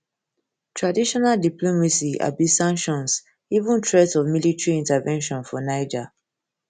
traditional diplomacy abi sanctions even threat of military intervention for niger